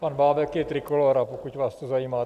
Pan Bábek je Trikolóra, pokud vás to zajímá.